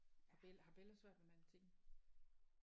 Har har Bella svært ved matematikken?